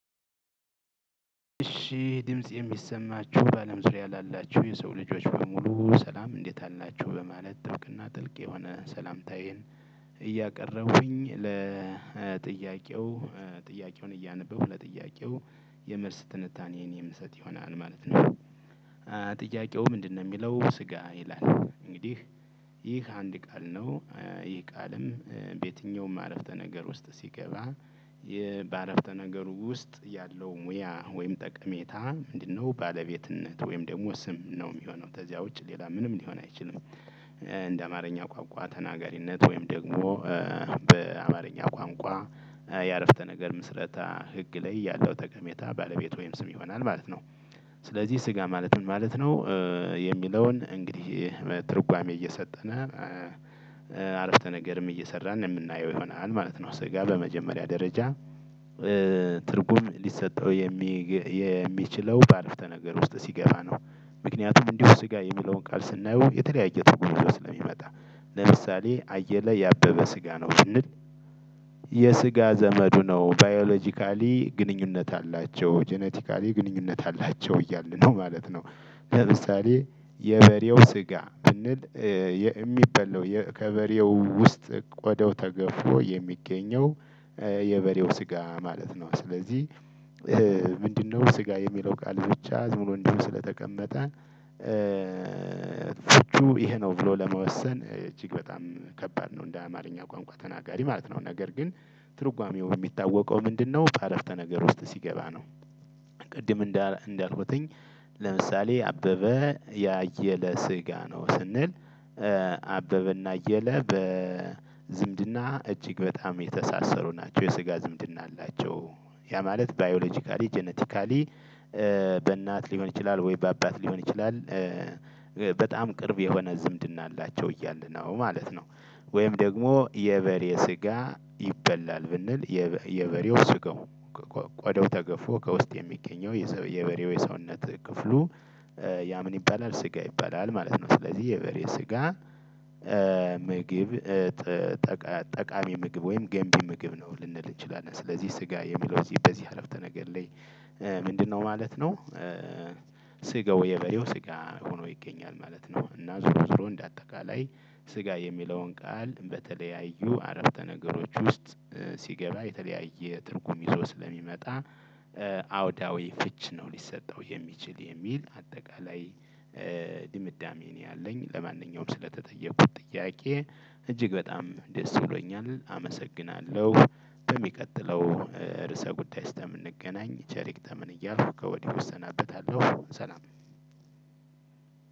እሺ ድምጽ የሚሰማችሁ በአለም ዙሪያ ላላችሁ የሰው ልጆች በሙሉ ሰላም እንዴት አላችሁ በማለት ጥብቅ እና ጥልቅ የሆነ ሰላምታዬን እያቀረብኩኝ ለጥያቄው ጥያቄውን እያነበብኩ ለጥያቄው የመልስ ትንታኔን የምንሰጥ ይሆናል ማለት ነው። እያቀረብኩኝ ለጥያቄው ጥያቄውን እያነበብኩ ለጥያቄው የምርስ ትንታኔን የምንሰጥ ይሆናል ማለት ነው። ጥያቄው ምንድነው? የሚለው ስጋ ይላል እንግዲህ ይህ አንድ ቃል ነው ይህ ቃልም በየትኛውም አረፍተ ነገር ውስጥ ሲገባ እንደ አማርኛ ቋንቋ ተናጋሪነት ወይም ደግሞ በአማርኛ ቋንቋ የአረፍተ ነገር ምስረታ ህግ ላይ ያለው ተቀሜታ ባለቤት ወይም ስም ይሆናል ማለት ነው። ስለዚህ ስጋ ማለት ምን ማለት ነው? የሚለውን እንግዲህ ትርጓሜ እየሰጠን አረፍተ ነገርም እየሰራን የምናየው ይሆናል ማለት ነው። ስጋ በመጀመሪያ ደረጃ ትርጉም ሊሰጠው የሚችለው በአረፍተ ነገር ውስጥ ሲገባ ነው። ምክንያቱም እንዲሁ ስጋ የሚለውን ቃል ስናየው የተለያየ ትርጉም ስለሚመጣ ለምሳሌ አየለ የአበበ ስጋ ነው ብንል የስጋ ዘመዱ ነው ባዮሎጂካሊ ግንኙነት አላቸው፣ ጄኔቲካሊ ግንኙነት አላቸው እያልን ነው ማለት ነው። ለምሳሌ የበሬው ስጋ ብንል የሚበላው ከበሬው ውስጥ ቆደው ተገፎ የሚገኘው የበሬው ስጋ ማለት ነው። ስለዚህ ምንድነው ስጋ የሚለው ቃል ብቻ ዝም ብሎ ስለተቀመጠ ፍቹ ይሄ ነው ብሎ ለመወሰን እጅግ በጣም ከባድ ነው። እንደ አማርኛ ቋንቋ ተናጋሪ ማለት ነው ነገር ግን ትርጓሜው የሚታወቀው ምንድነው? በአረፍተ ነገር ውስጥ ሲገባ ነው። ቅድም እንዳልኩትኝ ለምሳሌ አበበ የአየለ ስጋ ነው ስንል አበበ እና አየለ በዝምድና እጅግ በጣም የተሳሰሩ ናቸው የስጋ ዝምድና አላቸው። ያ ማለት ባዮሎጂካሊ ጄኔቲካሊ በእናት ሊሆን ይችላል ወይ በአባት ሊሆን ይችላል። በጣም ቅርብ የሆነ ዝምድና አላቸው እያልን ነው ማለት ነው። ወይም ደግሞ የበሬ ስጋ ይበላል ብንል የበሬው ስጋው ቆደው ተገፎ ከውስጥ የሚገኘው የበሬው የሰውነት ክፍሉ ያ ምን ይባላል ስጋ ይባላል ማለት ነው። ስለዚህ የበሬ ስጋ ምግብ ጠቃሚ ምግብ ወይም ገንቢ ምግብ ነው ልንል እንችላለን። ስለዚህ ስጋ የሚለው እዚህ በዚህ አረፍተ ነገር ላይ ምንድነው ማለት ነው? ስጋው የበየው ስጋ ሆኖ ይገኛል ማለት ነው። እና ዞሮ ዞሮ እንደ አጠቃላይ ስጋ የሚለውን ቃል በተለያዩ አረፍተ ነገሮች ውስጥ ሲገባ የተለያየ ትርጉም ይዞ ስለሚመጣ አውዳዊ ፍች ነው ሊሰጠው የሚችል የሚል አጠቃላይ ድምዳሜ እኔ አለኝ። ለማንኛውም ስለተጠየኩት ጥያቄ እጅግ በጣም ደስ ብሎኛል አመሰግናለሁ። በሚቀጥለው ርዕሰ ጉዳይ ስለምንገናኝ ቸር ይግጠመን እያልኩ ከወዲህ እሰናበታለሁ። ሰላም